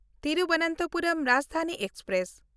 Thiruvananthapuram Rajdhani express